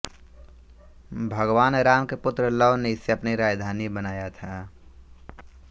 भगवान राम के पुत्र लव ने इसे अपनी राजधानी बनाया था